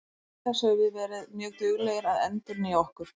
Auk þess höfum við verið mjög duglegir að endurnýja okkur.